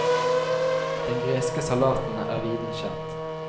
Den greske salaten er viden kjent.